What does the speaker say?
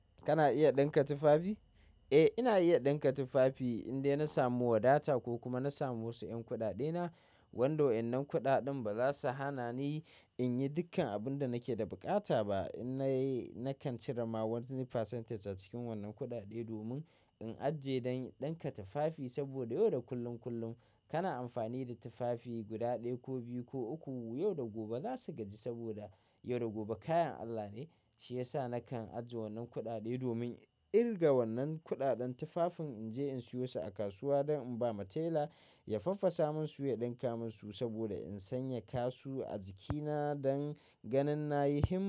Kana iya ɗinka tufafi? Eh, ina iya ɗinka tufafi idan ya na samu wadata ko kuma na samu wasu ƴan kuɗaɗena. Wando wa'innan kuɗaɗen ba za su hana ni in yi dukkan abin da nake da buƙata ba. In na yi, nakan cire ma wani percentage a cikin wannan kuɗaɗe domin in ajiye don ɗinka tufafi. Saboda yau da kullum kullum kana amfani da tufafi guda ɗaya ko biyu ko uku. Yau da gobe za su gaji saboda yau da gobe kayan Allah ne. Shi yasa nakan ajiye wannan kuɗaɗe domin irga wannan kuɗaɗen tufafin in je in siyo su a kasuwa don in ba ma tela ya faffasa min su ya ɗinka min su saboda in sanya su a jikina don ganin na yi himma.